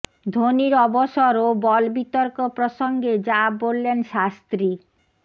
ধোনির অবসর ও বল বিতর্ক প্রসঙ্গে যা বললেন শাস্ত্রী